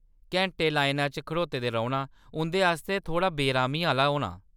घैंटे लाइना च खड़ोते दे रौह्‌‌‌ना उं’दे आस्तै थोह्‌ड़ा बेअरामी आह्‌ला होना।